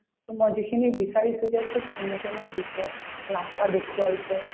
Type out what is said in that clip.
তোমাৰ যিখিনি বিচাৰিছো তেওঁ খুব ধুনীয়াকে মোক দিছে ৰাস্তা দেখুৱাইছে